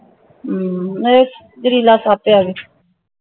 ਹਮ ਇਹ ਜਹਰੀਲਾ ਸੱਪ ਹੀ ਹਗਾ